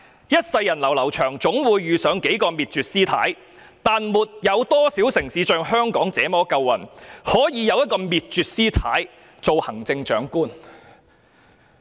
一世人流流長，總會遇上幾個滅絕，但沒多少城市像香港那麼夠運，可以有一個滅絕師太做行政長官。